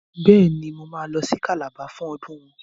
Bẹ́ẹ̀ ni, Mo máa lọ sí Calabar fún ọdún wọn.